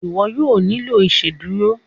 iwọ yóò nilo iṣeduro.